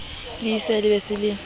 lesea a be a se